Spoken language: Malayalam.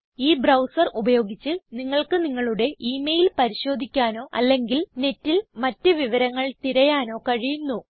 ഈ ബ്രൌസർ ഉപയോഗിച്ച് നിങ്ങൾക്ക് നിങ്ങളുടെ ഇ മെയിൽ പരിശോധിക്കാനോ അല്ലെങ്കിൽ നെറ്റിൽ മറ്റ് വിവരങ്ങൾ തിരയാനോ കഴിയുന്നു